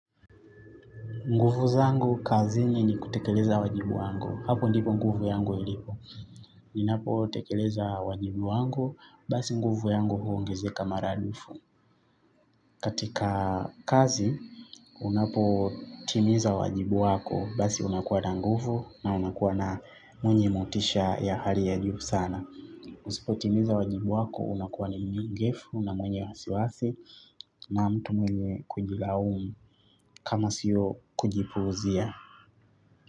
Nguvu zangu, kazini ni kutekeleza wajibu wangu. Hapo ndipo nguvu yangu ilipo. Ninapo tekeleza wajibu wangu, basi nguvu yangu huongezeka maradufu. Katika kazi, unapo timiza wajibu wako, basi unakuwa na nguvu na unakuwa na mwenye motisha ya hali ya juu sana. Usipo timiza wajibu wako, unakuwa ni myegefu, na mwenye wasiwasi, na mtu mwenye kujilaumu, kama sio kujipuuzia.